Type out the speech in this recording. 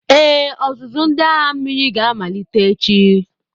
Ee, ọzụzụ ndị agha mmiri ga-amalite echi.